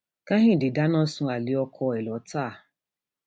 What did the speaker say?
kẹhìndé dáná sun alẹ ọkọ ẹ lọtà